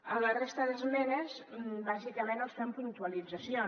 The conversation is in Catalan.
en la resta d’esmenes bàsicament els fem puntualitzacions